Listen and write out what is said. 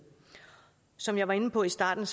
som jeg var inde på i starten